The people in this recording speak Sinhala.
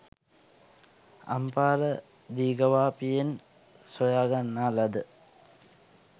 අම්පාර දීඝවාපියෙන් සොයා ගන්නා ලද